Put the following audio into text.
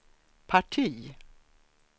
parti